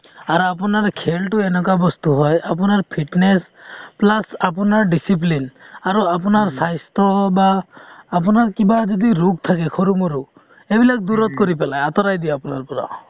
আৰু আপোনাৰ খেলটো এনেকুৱা বস্তু হয়, আপোনাৰ fitness plus আপোনাৰ discipline আৰু আপোনাৰ স্বাস্থ্য বা আপোনাৰ কিবা যদি ৰোগ থাকে সৰু মৰু সেইবিলাক দূৰত কৰি পেলাই আঁতৰাই দিয়ে আপোনাৰ পৰা |